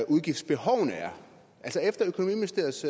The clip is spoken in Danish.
udgiftsbehovene er efter økonomiministeriets